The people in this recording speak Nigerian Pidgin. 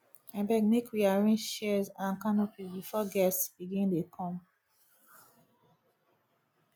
abeg make we arrange chairs and canopy before guests begin dey come